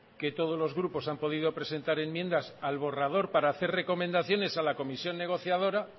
que todos los grupos han podido presentar enmiendas al borrador para hacer recomendaciones a la comisión negociadora